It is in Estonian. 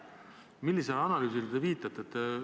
Millisele analüüsile te viitate?